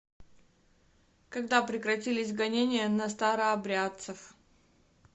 когда прекратились гонения на старообрядцев